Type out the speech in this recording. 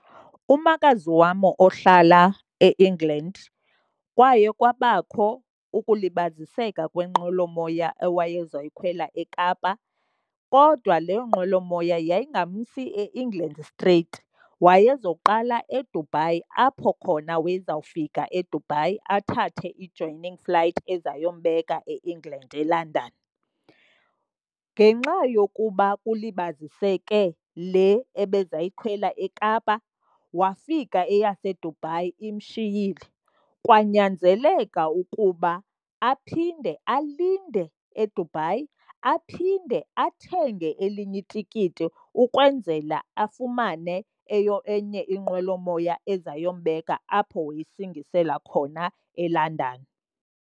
Umakazi wam ohlala e-England kwaye kwabakho ukulibaziseka kwenqwelomoya awayezayikhwela eKapa kodwa leyo nqwelomoya yayingamsi eEngland streyiti. Wayezoqala eDubai apho khona wayezawufika eDubai athathe i-joining flight ezayombeka e-England eLondon. Ngenxa yokuba kulibaziseke le ebezayikhwela eKapa wafika eyaseDubai imshiyile. Kwanyanzeleka ukuba aphinde alinde eDubai, aphinde athenge elinye itikiti ukwenzela afumane enye inqwelomoya ezayombeka apho wayesingisela khona eLondon.